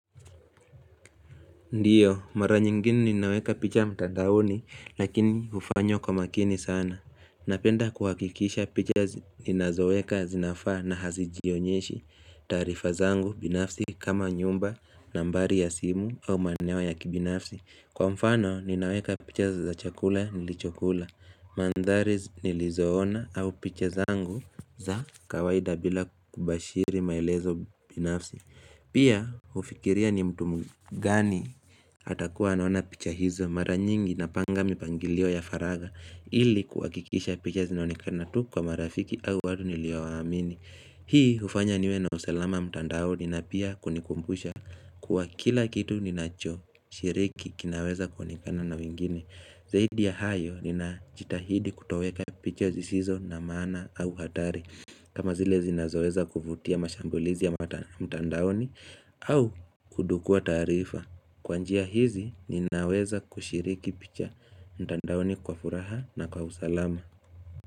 Ndiyo mara nyingine ninaweka picha mtandauni lakini hufanyo kwa makini sana Napenda kuhakikisha picha ninazoeka zinafaa na hazijionyeshi taarifa zangu binafsi kama nyumba nambari ya simu au maeneo ya kibinafsi Kwa mfano ninaweka picha za chakula nilichokula Mandhari nilizoona au picha zangu za kawaida bila kubashiri maelezo binafsi Pia ufikiria ni mtu mgani atakuwa anaona picha hizo mara nyingi napanga mipangilio ya faraga ili kuhakikisha picha zinaonikana tu kwa marafiki au watu niliowaamini Hii hufanya niwe na usalama mtandaoni na pia kunikumbusha kuwa kila kitu ninachoshiriki kinaweza kuonekana na wingine Zahidi ya hayo ninajitahidi kutoweka picha zisizo na maana au hatari kama zile zinazoweza kuvutia mashambulizi ya mtandaoni au kudukua tarifa Kwa njia hizi ninaweza kushiriki picha mtandaoni kwa furaha na kwa usalama.